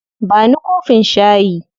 Ba ni kofin shayi.